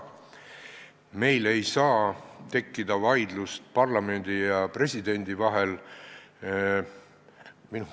Meil ei saa tekkida vaidlust parlamendi ja presidendi vahel.